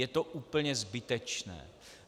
Je to úplně zbytečné.